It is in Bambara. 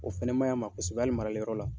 O fɛnɛ maɲi a ma kosɛbɛ hali marali yɔrɔ la